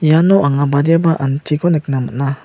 iano anga badiaba antiko nikna man·a.